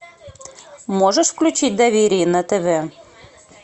можешь включить доверие на тв